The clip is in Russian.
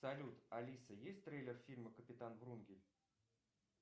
салют алиса есть трейлер фильма капитан врунгель